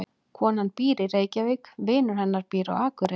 Konan býr í Reykjavík. Vinur hennar býr á Akureyri.